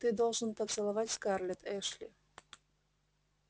ты должен поцеловать скарлетт эшли